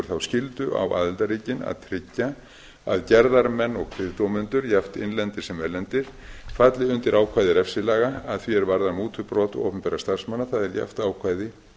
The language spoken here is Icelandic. þá skyldu á aðildarríkin að tryggja að gerðarmenn og kviðdómendur jafnt innlendir sem erlendir falli undir ákvæði refsilaga að því er varðar mútubrot opinberra starfsmanna það er jafnt ákvæði